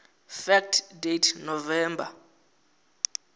fact date november